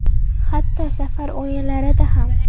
Hatto safar o‘yinlarida ham.